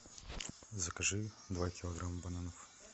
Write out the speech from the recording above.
закажи два килограмма бананов